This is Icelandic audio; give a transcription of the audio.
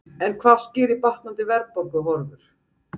En hvað skýrir batnandi verðbólguhorfur?